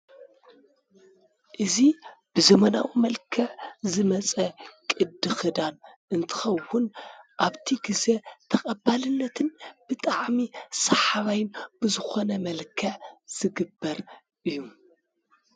እዚ ብዘመናዊ መልክዕ ዝመፀ ቅዲ ኽዳን እንትኸውን ኣብቲ ግዜ ተቀባልነትን ብጣዕሚ ሰሓባይን ብዝኾነ መልክዕ ዝግበር እዪ።